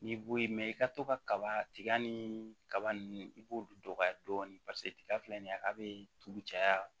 N'i bo ye i ka to ka kaba tiga ni kaba ninnu i b'olu dɔgɔya dɔɔni paseke tiga filɛ nin ye a be tugu caya